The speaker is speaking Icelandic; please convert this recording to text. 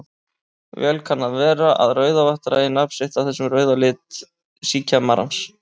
Vel kann að vera að Rauðavatn dragi nafn sitt af þessum rauða lit síkjamarans.